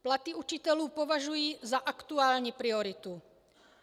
Platy učitelů považuji za aktuální prioritu.